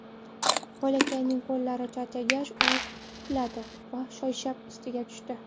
Bolakayning qo‘llari charchagach, u quladi va choyshab ustiga tushdi.